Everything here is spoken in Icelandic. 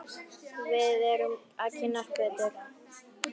Við verðum að kynnast betur.